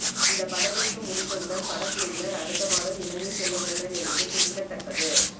இந்த படப்பிடிப்பு முடிந்தவுடன் படக்குழுவினர் அடுத்த மாதம் இலங்கை செல்ல உள்ளனர் என்பது குறிப்பிடத்தக்கது